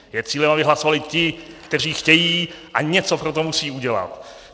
Je cílem, aby hlasovali ti, kteří chtějí, a něco pro to musí udělat.